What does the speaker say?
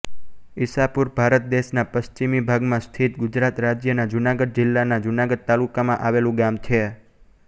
ઇસાપુર ભારત દેશનાં પશ્ચિમી ભાગમાં સ્થિત ગુજરાત રાજ્યના જુનાગઢ જિલ્લાના જુનાગઢ તાલુકામાં આવેલું ગામ છે